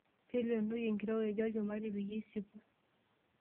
Taleenoi enkirowuaj olchumati peyie isipuu.